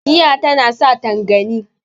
giya tana sa tangani